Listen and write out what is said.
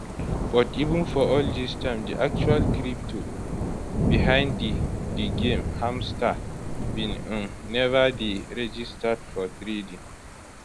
but even for all dis time di actual crypto behind di di game hmstr bin um neva dey registered for trading